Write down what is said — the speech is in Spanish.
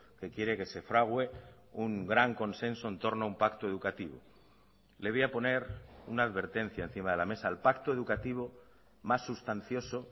que quiere que se fragüe un gran consenso en torno a un pacto educativo le voy a poner una advertencia encima de la mesa el pacto educativo más sustancioso